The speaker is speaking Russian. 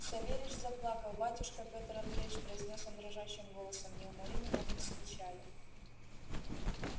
савельич заплакал батюшка пётр андреич произнёс он дрожащим голосом не умори меня с печали